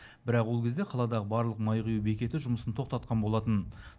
бірақ ол кезде қаладағы барлық май құю бекеті жұмысын тоқтатқан болатын